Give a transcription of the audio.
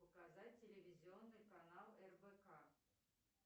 показать телевизионный канал рбк